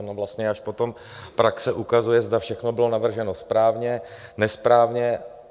Ono vlastně až potom praxe ukazuje, zda všechno bylo navrženo správně, nesprávně.